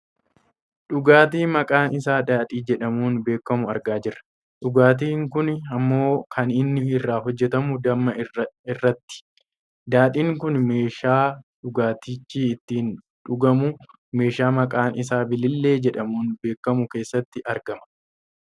Dhugaatii maqaan isaa Daadhii jedhamuun beekkamu argaa jirra. dhugaatii kun ammoo kan inni irraa hojjatamu damma irraati. Daadhiin kun meeshaa dhugaatichi ittiin dhugamu meeshaa maqaan isa bilillee jedhamuun beekkamu keessati argama.